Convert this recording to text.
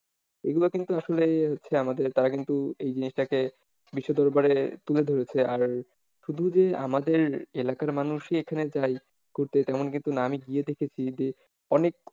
এইগুলো কিন্তু আসলে হচ্ছে আমাদের তারা কিন্তু এই জিনিসটাকে বিশ্ব দরবারে তুলে ধরেছে আর শুধু যে আমাদের এলাকার মানুষই এখানে যায় ঘুরতে তেমন কিন্তু না, আমি গিয়ে দেখেছি যে অনেক অনেক,